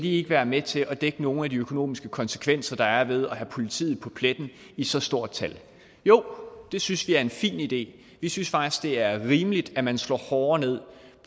ikke være med til at dække nogle af de økonomiske konsekvenser der er ved at have politiet på pletten i så stort tal jo det synes vi er en fin idé vi synes faktisk det er rimeligt at man slår hårdere ned